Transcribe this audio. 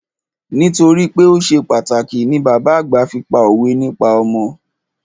Nítorípé o ṣe pàtàkì ni bàbá àgbà fi pá òwe nípa ọmọ.